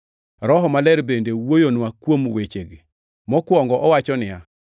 Roho Maler bende wuoyonwa kuom wechegi. Mokwongo owacho niya: